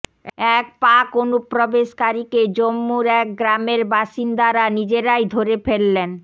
এক পাক অনুপ্রবেশকারীকে জম্মুর এক গ্রামের বাসিন্দারা নিজেরাই ধরে ফেললেন